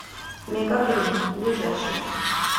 мегагринн ближайший